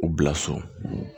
U bila so